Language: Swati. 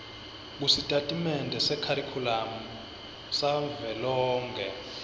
kusitatimende sekharikhulamu savelonkhe